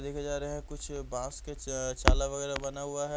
देखे जा रहे हैं कुछ बांस के अअ चाला वगैरह बना हुआ है।